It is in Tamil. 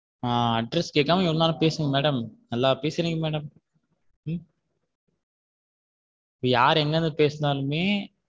Address கேக்காம இவ்ளோ நேரம் பேசுங்க madam நல்லா பேசுறீங்க madam யாரு எங்க இருந்து பேசினாலும்மே.